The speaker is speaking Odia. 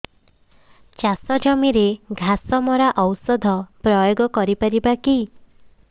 ଚାଷ ଜମିରେ ଘାସ ମରା ଔଷଧ ପ୍ରୟୋଗ କରି ପାରିବା କି